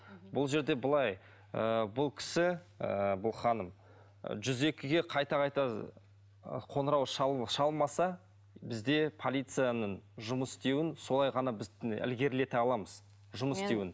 бұл жерде былай ыыы бұл кісі ыыы бұл ханым жүз екіге қайта қайта қоңырау шалмаса бізде полицияның жұмыс істеуін солай ғана біз ілгерлете аламыз жұмыс істеуін